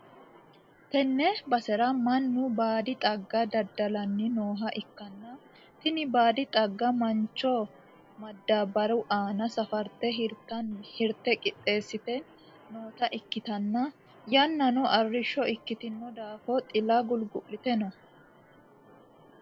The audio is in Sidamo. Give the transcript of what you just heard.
tenne basera mannu baadi xagga daddalanni nooha ikkanna, tini baadi xaggano mancho madaabbaru aana safarte hirate qixxeessite noota ikkitanna, yannano arrishsho ikkitino daafo xila gulgu'lite no.